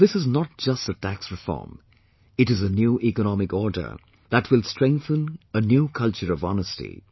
And this is not just a tax reform; it is a new economic order that will strengthen a new culture of honesty